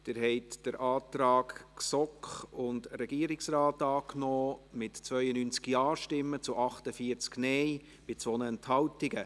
Sie haben den Antrag GSoK / Regierungsrat angenommen, mit 92 Ja- gegen 48 NeinStimmen bei 2 Enthaltungen.